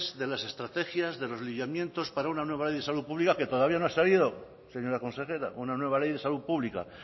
de las estrategias de los para una nueva ley de salud pública que todavía no ha salido señora consejera una nueva ley de salud pública